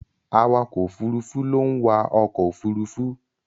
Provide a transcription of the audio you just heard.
Awakọ̀ Òfurufú ló ń wa ọkọ òfurufú.